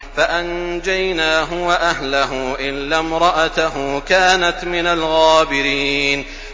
فَأَنجَيْنَاهُ وَأَهْلَهُ إِلَّا امْرَأَتَهُ كَانَتْ مِنَ الْغَابِرِينَ